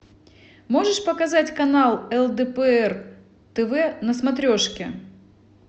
можешь показать канал лдпр тв на смотрешке